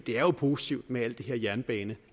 er jo positivt med alt det her jernbane